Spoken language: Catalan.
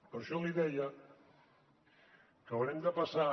per això li deia que haurem de passar